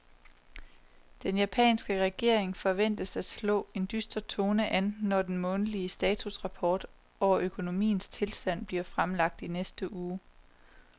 Den japanske regering forventes at slå en dyster tone an, når den månedlige statusrapport over økonomiens tilstand bliver fremlagt i næste uge.